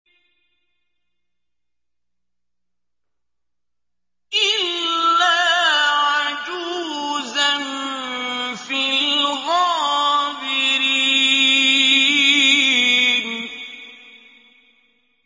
إِلَّا عَجُوزًا فِي الْغَابِرِينَ